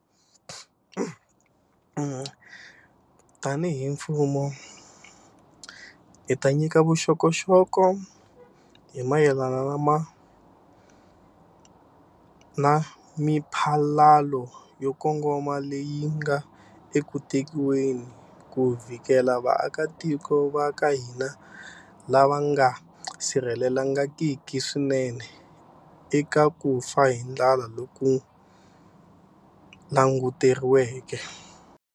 Tanihi mfumo, hi ta nyika vuxokoxoko hi mayelana na miphalalo yo kongoma leyi nga eku tekiweni ku vhikela vaakatiko va ka hina lava nga sirhelelekangiki swinene eka ku fa hi ndlala loku languteriweke.